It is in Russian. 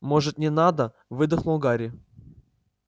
может не надо выдохнул гарри